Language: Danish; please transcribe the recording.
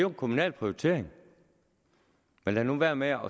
en kommunal prioritering så lad nu vær med at